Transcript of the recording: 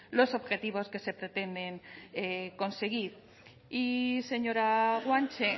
los objetivos que se pretenden conseguir y señora guanche